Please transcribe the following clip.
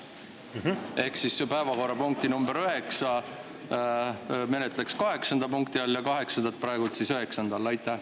Ehk siis päevakorrapunkti number üheksa menetleks kaheksanda punkti all ja kaheksandat üheksanda all.